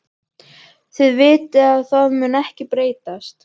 Þið vitið að það mun ekkert breytast.